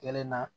Kelen na